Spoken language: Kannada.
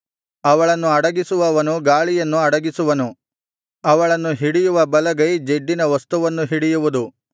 ಅವಳನ್ನು ಅಡಗಿಸುವವನು ಗಾಳಿಯನ್ನು ಅಡಗಿಸುವನು ಅವಳನ್ನು ಹಿಡಿಯುವ ಬಲಗೈ ಜಿಡ್ಡಿನ ವಸ್ತುವನ್ನು ಹಿಡಿಯುವುದು